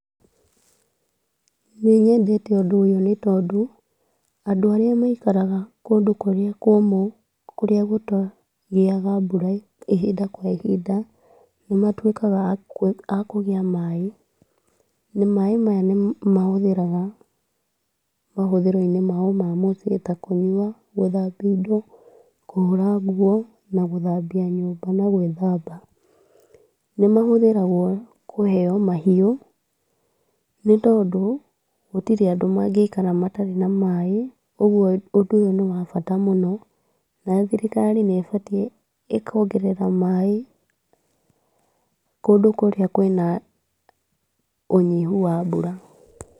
Nĩnyendete ũndũ ũyũ nĩ tondũ, andũ arĩa maikaraga kũndũ kũrĩa kũmũ, kũrĩa gũtagĩaga mbura ihinda kwa ihinda, nĩmatuĩkaga akũgĩa maaĩ, na maaĩ maya nĩmahũthĩraga mahũthĩro-inĩ mao mũciĩ ta kũnyua, gũthambi indo, kũhũra nguo na gũthambia nyumba na gwĩthamba. Nĩmahũthĩragwo kũheo mahiũ, nĩ tondũ gũtirĩ andũ mangĩikara matarĩ na maaĩ. Ũguo ũndũ ũyũ nĩ wa bata mũno, na thirikari, nĩ ĩbatatiĩ ĩkongerera maaĩ, kũndũ kũrĩa kwĩna ũnyihu wa maaĩ.